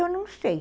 Eu não sei.